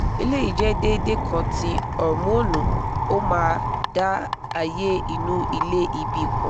eleyi jẹ́ déédéé kan ti hormonu ó máa dá ààyè inu ilé ìbí pọ̀